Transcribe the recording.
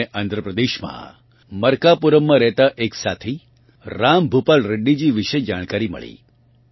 મને આંધ્રપ્રદેશમાં મર્કાપુરમમાં રહેતાં એક સાથી રામ ભૂપાલ રેડ્ડીજી વિશે જાણકારી મળી